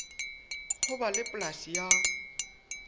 ho ba le polasi ya